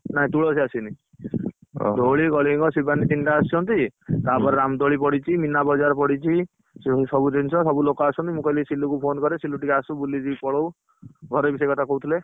ନା ତୁଳସୀ ଆସିନୀ ଧଉଳି କଳିଙ୍ଗ ଶିବାନୀ ତିନିଟା ଆସିଛନ୍ତି ତାପରେ ରାମ ଦୋଳି ପଡିଛି ମିନାବଜାର ପଡିଛି। ସେ ସବୁ ଜିନିଷ ସବୁ ଲୋକ ଆସିଛନ୍ତି ମୁ କହିଲି ସିଲୁ କୁ phone କରେ ସିଲୁ ଟିକେ ଆସୁ ବୁଲିକି ପଳଉ, ଘରେ ବି ସେଇକଥା କହୁଥିଲେ।